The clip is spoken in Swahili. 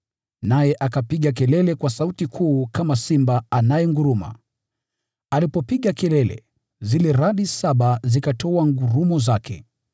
Naye akapiga kelele kwa sauti kuu kama simba anayenguruma. Alipopiga kelele, zile radi saba zikatoa ngurumo zake.